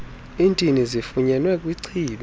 iintini zifunyenwe kwichibi